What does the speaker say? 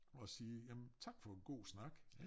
Og sige jamen tak for en god snak